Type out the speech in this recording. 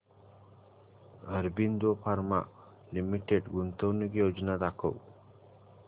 Aurobindo Pharma Limited गुंतवणूक योजना दाखव